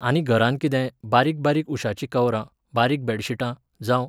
आनी घरांत कितें, बारीक बारीक उशाचीं कवरां, बारीक बॅडशिटां, जावं